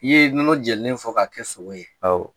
I ye nɔnɔ jenilen fɔ k'a kɛ sogo ye awɔ